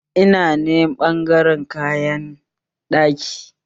Ina ne ɓangaren kayan ɗaki?